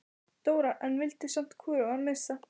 Dóra, en vildi samt hvorugan missa.